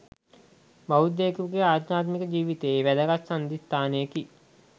බෞද්ධයකුගේ අධ්‍යාත්මික ජීවිතයේ වැදගත් සන්ධිස්ථානයකි,